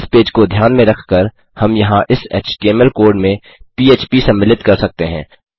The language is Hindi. इस पेज को ध्यान में रख कर हम यहाँ इस एचटीएमएल कोड में पीएचपी सम्मिलित कर सकते हैं